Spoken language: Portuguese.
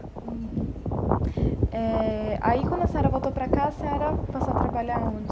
Uhum eh aí, quando a senhora voltou para cá, a senhora passou a trabalhar aonde?